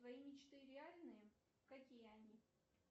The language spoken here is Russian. твои мечты реальны какие они